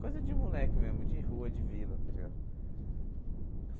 Coisa de moleque mesmo, de rua, de vila, tá ligado?